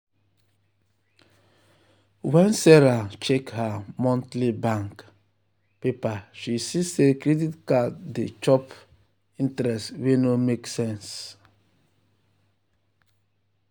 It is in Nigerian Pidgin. when sarah check her monthly bank paper she see say credit card dey chop um interest wey no make sense.